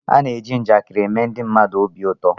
A na-eji njakịrị eme ndị mmadụ obi ụtọ